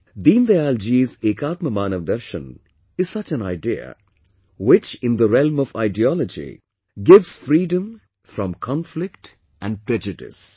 Deendayal ji's 'Ekatma Manavdarshan' is such an idea, which in the realm of ideology gives freedom from conflict and prejudice